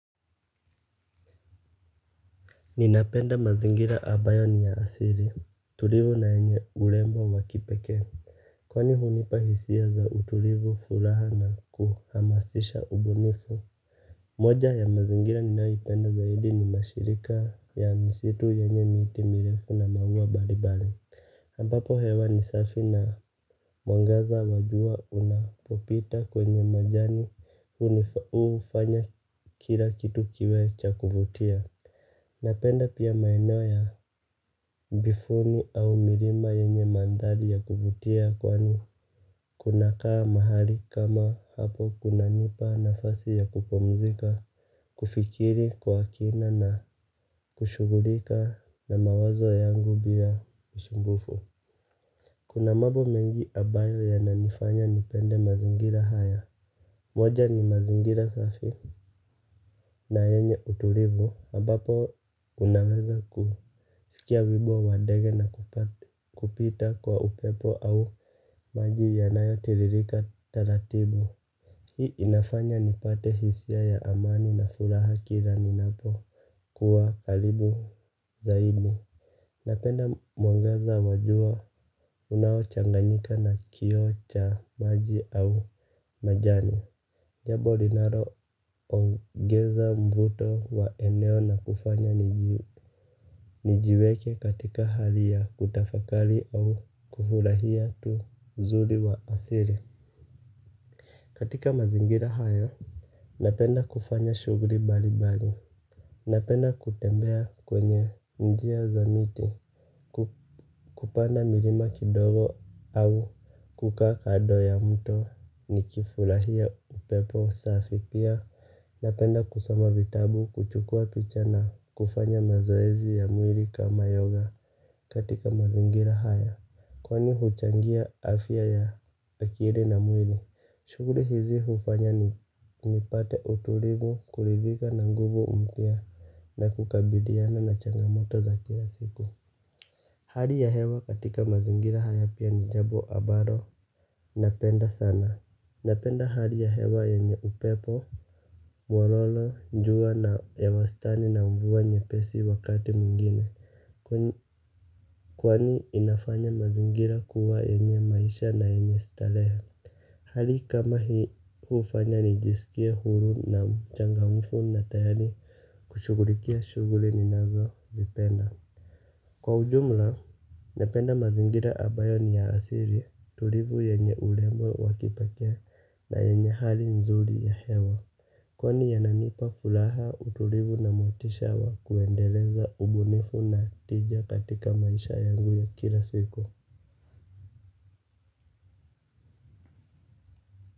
Ninapenda mazingira ambayo ni ya asili tulivu na yenye urembo wa kipekee. Kwani hunipa hisia za utulivu furaha na kuhamasisha ubunifu. Moja ya mazingira ninayoipenda zaidi ni mashirika ya msitu yenye miti mirefu na maua mbalimbali ambapo hewa ni safi na mwangaza wa jua unapopita kwenye majani hufanya kila kitu kiwe cha kuvutia. Napenda pia maeneo ya bifuni au milima yenye mandhari ya kuvutia kwa ni kunakaa mahali kama hapo kunanipa nafasi ya kupumzika, kufikiri, kwa kina na kushugulika na mawazo yangu bila usumbufu. Kuna mambo mengi ambayo yananifanya nipende mazingira haya. Moja ni mazingira safi na yenye utulivu ambapo unaweza kusikia wimbo wa ndege na kupita kwa upepo au maji yanayotiririka taratibu. Hii inafanya nipate hisia ya amani na furaha kila ninapo kuwa karibu zaidi. Napenda mwangaza wa jua unaochanganyika na kioo cha maji au majani. Jambo linaloongeza mvuto wa eneo na kufanya nijiweke katika hali ya kutafakari au kufurahia tu uzuri wa asili. Katika mazingira haya, napenda kufanya shuguli mbalimbali. Napenda kutembea kwenye njia za miti, kupanda milima kidogo au kukaa kando ya mto nikifurahia upepo safi pia. Napenda kusoma vitabu, kuchukua picha na kufanya mazoezi ya mwili kama yoga katika mazingira haya. Kwani huchangia afya ya akili na mwili, shuguli hizi hufanya ni nipate utulivu kurithika na nguvu mpya na kukabiliana na changamoto za kila siku. Hali ya hewa katika mazingira haya pia ni jambo ambalo, napenda sana. Napenda hali ya hewa yenye upepo, nyororo, jua na ya wastani na mvua nyepesi wakati mwingine. Kwani inafanya mazingira kuwa yenye maisha na yenye starehe. Hali kama hii hufanya nijisikire huru na mchangamfu na tayari kushugulikia shuguli ninazozipenda. Kwa ujumla, nependa mazingira ambayo ni ya asili tulivu yenye urembo wa kipekee na yenye hali nzuri ya hewa. Kwani yananipa furaha utulivu na motisha wa kuendeleza ubunifu na tija katika maisha yangu ya kila siku.